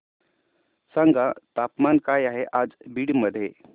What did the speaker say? सांगा तापमान काय आहे आज बीड मध्ये